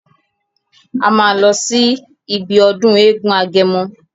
A máa lọ sí ibi ọdún eégún agẹmọ.